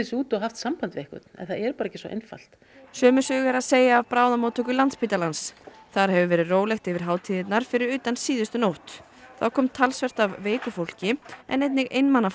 sig út og haft samband við einhvern en það er ekki svo einfalt sömu sögu er að segja af bráðamóttöku Landspítalans þar hefur verið rólegt yfir hátíðirnar fyrir utan síðustu nótt þá kom talsvert af veiku fólki en einnig einmana